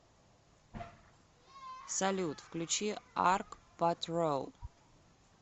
салют включи арк патрол